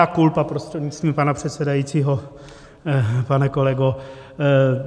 Mea culpa, prostřednictvím pana předsedajícího pane kolego.